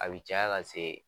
A be caya ka se